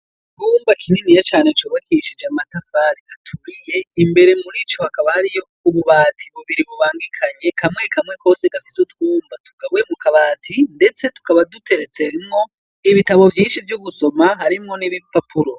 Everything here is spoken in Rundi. Icumba kininiya c'ubakishije amatafari aturiye, imbere murico hakaba hariyo ububati bubiri bubangikanye, kamwe kamwe kose gafise utwumba tugabuwe mu kabati, ndetse tukaba duteretsemwo ibitabo vyinshi vyo gusoma harimwo n'ibipapuro.